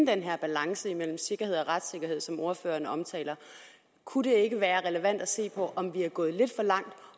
den her balance mellem sikkerhed og retssikkerhed som ordføreren omtaler kunne det ikke være relevant at se på om vi er gået lidt for langt